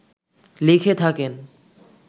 লিখে থাকেন